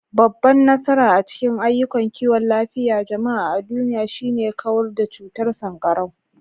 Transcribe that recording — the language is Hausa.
Babban nasara a cikin ayyukan kiwon lafiyar jama'a a duniya shine kawar da cutar sankarau.